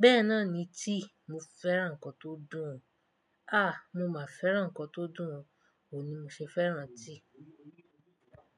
Bẹ́ẹ̀ náà ni tea. Mo fẹ́ràn nǹkan tó dùn. Àh! Mo máa fẹ́ràn nǹkan tó dùn. Ó ni mo ṣe fẹ́ràn tea.